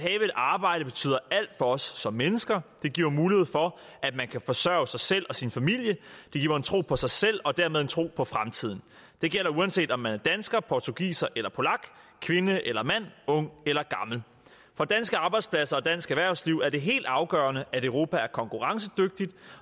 arbejde betyder alt for os som mennesker det giver mulighed for at man kan forsørge sig selv og sin familie det giver en tro på sig selv og dermed en tro på fremtiden det gælder uanset om man er dansker portugiser eller polak kvinde eller mand ung eller gammel for danske arbejdspladser og dansk erhvervsliv er det helt afgørende at europa er konkurrencedygtigt